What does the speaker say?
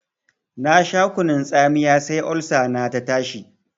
Na sha kunun tsamiya sai Olsa na ta tashi.